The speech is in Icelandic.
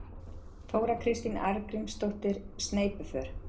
Þóra Kristín Arngrímsdóttir: Sneypuför?